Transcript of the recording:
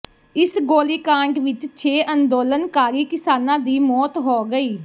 ਇਸ ਗੋਲੀਕਾਂਡ ਵਿੱਚ ਛੇ ਅੰਦੋਲਨਕਾਰੀ ਕਿਸਾਨਾਂ ਦੀ ਮੌਤ ਹੋ ਗਈ